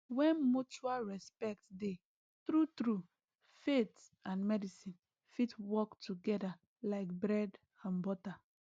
when mutual respect dey true true faith and medicine fit work together like bread and butter